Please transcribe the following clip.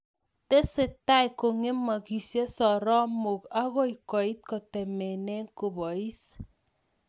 Tesetai kongemaksei sorromoik akoi koit kotemene kobois